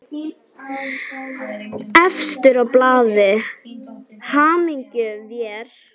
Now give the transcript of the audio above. Efstur á blaði, hyggjum vér.